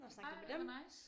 Ej hvor nice